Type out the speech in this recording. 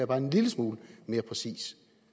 bare en lille smule mere præcis